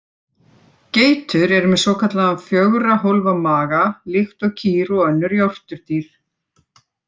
Geitur eru með svokallaðan fjögurra hólfa maga líkt og kýr og önnur jórturdýr.